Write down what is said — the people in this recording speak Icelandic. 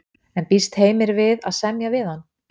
En býst Heimir við að semja við hann?